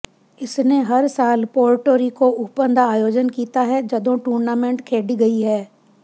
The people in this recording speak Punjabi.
ਇਸਨੇ ਹਰ ਸਾਲ ਪੋਰਟੋ ਰੀਕੋ ਓਪਨ ਦਾ ਆਯੋਜਨ ਕੀਤਾ ਹੈ ਜਦੋਂ ਟੂਰਨਾਮੈਂਟ ਖੇਡੀ ਗਈ ਹੈ